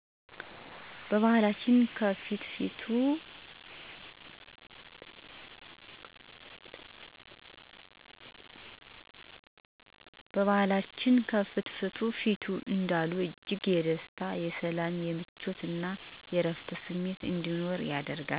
በባህላችን "ከፍትፍቱ ፊቱ " እንዲሉ እጅግ የደስታ :የሰላም :የምቾት እና እረፍት ስሜት እንዲኖር ያደርጋል።